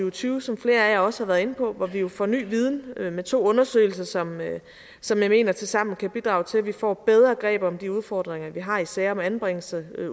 og tyve som flere af jer også har været inde på hvor vi jo får ny viden med to undersøgelser som som jeg mener tilsammen kan bidrage til at vi får et bedre greb om de udfordringer vi har i sager om anbringelse